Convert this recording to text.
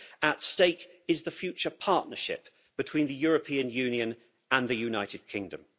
At stake is the future partnership between the European Union and the United Kingdom.